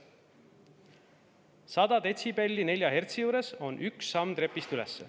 100 detsibelli 4 hertsi juures on üks samm trepist üles.